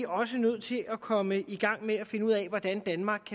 også nødt til at komme i gang med at finde ud af hvordan danmark